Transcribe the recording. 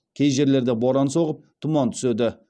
кей жерлерде боран соғып тұман түседі